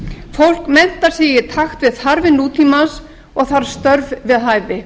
fólk menntar sig í takt við þarfir nútímans og þarf störf við hæfi